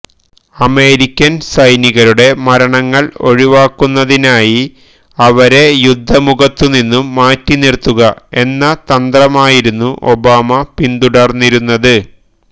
American സൈനികരുടെ മരണങ്ങള് ഒഴിവാക്കുന്നതിനായി അവരെ യുദ്ധമുഖത്തുനിന്നും മാറ്റി നിറുത്തുക എന്ന തന്ത്രമായിരുന്നു ഒബാമ പിന്തുടര്ന്നിരുന്നത്